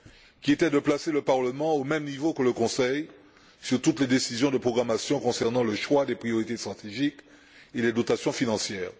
qui était de placer le Parlement au même niveau que le Conseil pour toutes les décisions de programmation concernant le choix des priorités stratégiques et les dotations financières.